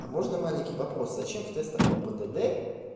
а можно маленький вопрос зачем в тестах по п д д